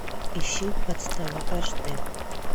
ищи подстава аш дэ